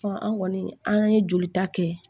an kɔni an ye jolita kɛ